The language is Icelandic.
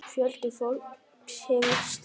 Fjöldi fólks hefur slasast.